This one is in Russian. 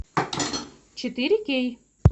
четыре кей